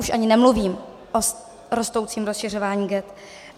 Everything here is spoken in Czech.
Už ani nemluvím o rostoucím rozšiřování ghett.